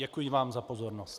Děkuji vám za pozornost.